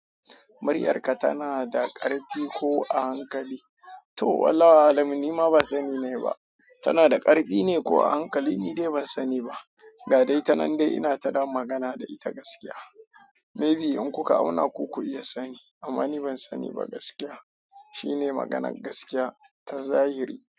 "Muryarka tana da ƙarfi ko a hankali?" To wallahi wa alamu ni ma ban sani nayi ba. Tana da ƙarfi ne ko a hankali ni dai ban sani ba. Ga dai tanan dai ina tada magana da ita gaskiya. Maybe in kuka auna ku ku iya sani amma ni ban sani ba gaskiya. Shine maganar gaskiya ta zahiri.